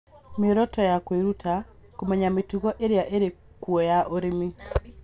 Mĩoroto ya kwĩruta: kũmenya mĩtugo ĩrĩa ĩrĩ kuo ya ũrĩmi.